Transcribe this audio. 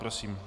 Prosím.